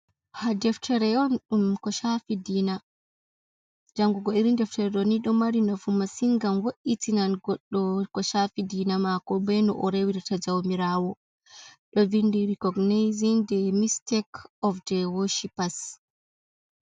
Ha deftere on ko shafi ɗina. Njanguko Irin deftere do ni do mari nofu masin gam wo’itinan goddo ko shafi dina mako. baino orewirta jaumirawo. Do vindi recognizin ɗe mistic of the worshipas.